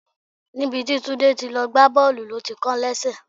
Níbi tí Tunde ti lọ gbá Bọ́ọ̀lù ló ti kán lẹ́sẹ̀.